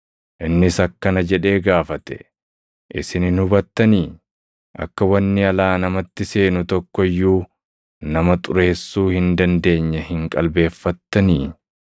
Innis akkana jedhee gaafate; “Isin hin hubattanii? Akka wanni alaa namatti seenu tokko iyyuu nama ‘xureessuu’ hin dandeenye hin qalbeeffattanii?